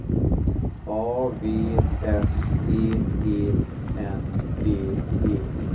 A V S E E N D E